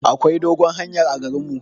Akwai dogon hanyar a garin mu.